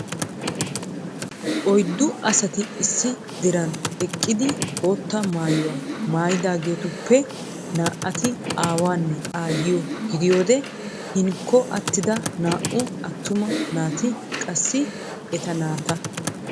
Oyddu asati issi diran eqqidi bootta maayyuwa maayyidaageetuppe naa"ati aawanne aayyiyo gidiyoode hinkko attida naa"u attuma naati qassi eta naata.